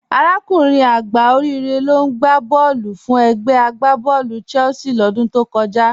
Arákùnrin àgbá Òríre ló n gbà bọ̀ọ̀lù fún ègbè àgbàbọ̀ọ̀lú Chelsea lódún tó kọ̀jà.